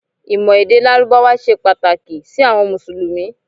ìmọ̀ èdè lárúbáwá se Pataki si awọn musulumi